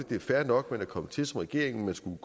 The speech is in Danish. det er fair nok man er kommet til som regering man skulle